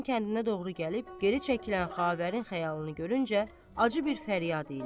Kənardan kəndinə doğru gəlib geri çəkilən Xavərin xəyalını görüncə acı bir fəryad elə.